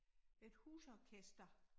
Et husorkester